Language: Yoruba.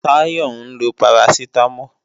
Táyọ ń lo parasitamol